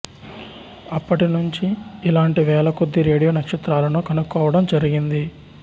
అప్పటి నుంచి ఇలాంటి వేలకొద్దీ రేడియో నక్షత్రాలను కనుక్కోవడం జరిగింది